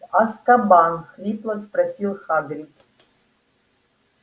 азкабан хрипло спросил хагрид